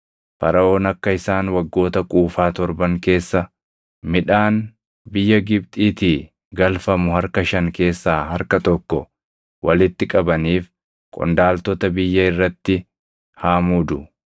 Faraʼoon akka isaan waggoota quufaa torban keessa midhaan biyya Gibxiitii galfamu harka shan keessaa harka tokko walitti qabaniif qondaaltota biyya irratti haa muudu.